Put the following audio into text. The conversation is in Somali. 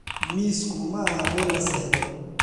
Miisku maaha meel la seexdo.